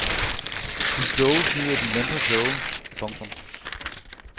De kloge snyder de mindre kloge. punktum